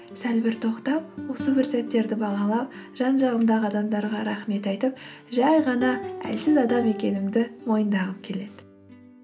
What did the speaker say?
сәл бір тоқтап осы бір сәттерді бағалап жан жағымдағы адамдарға рахмет айтып жай ғана әлсіз адам екенімді мойындағым келеді